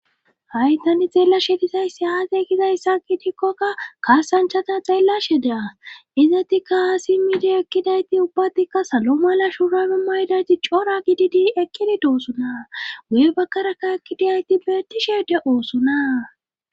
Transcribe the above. Haytani xeellashedizayssi aate kizayssa ki tikkoka kaasanchata xeellashe daa izati kaasimidiyo ekkidayti ubbatikka salo mala shurame maydayti coora gididi ekkidi doosuna woye bakkaraka ekkidadayti betishe de oosuna